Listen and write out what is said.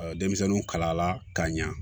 denmisɛnninw kalala k'a ɲa